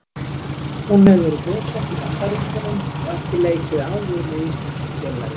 Hún hefur verið búsett í Bandaríkjunum og ekki leikið áður með íslensku félagi.